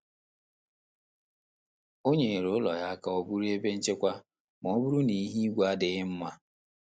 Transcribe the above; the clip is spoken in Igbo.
O nyere ụlọ ya ka ọ bụrụ ebe nchekwa ma ọ bụrụ na ihu igwe adịghị mma.